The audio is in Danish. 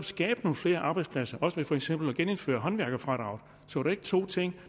skabt nogle flere arbejdspladser også ved for eksempel at genindføre håndværkerfradraget var de to ting